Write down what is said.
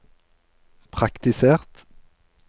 praktisert